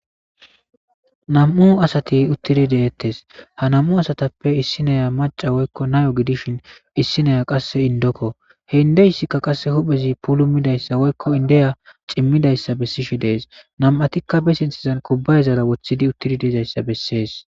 Nam'u asati uttidi de'etees ha nam'u asattappe issiniya macca woykko nayo gidishin issiniya qasse indoko he indessika qasse huphezi pulumidayssa woykko Indiya cimmidayssa bessishe dees nam'atikka be sinththezan kubbayazara woththidi uttidayssa bessees.